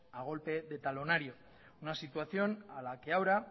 a golpe de talonario una situación a la que ahora